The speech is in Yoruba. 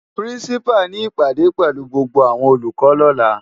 Pirinsipá ni ipádé pèlú gbógbó áwòn ólúkò lòlá